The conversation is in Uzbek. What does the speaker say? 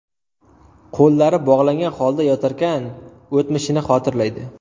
Qo‘llari bog‘langan holda yotarkan, o‘tmishini xotirlaydi.